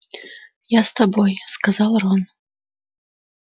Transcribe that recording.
я с тобой сказал рон